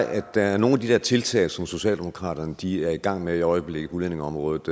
at der i nogle af de der tiltag som socialdemokratiet er i gang med i øjeblikket på udlændingeområdet